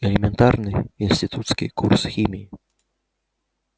элементарный институтский курс химии